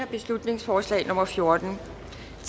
beslutningsforslag nummer b fjorten